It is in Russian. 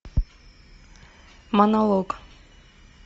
монолог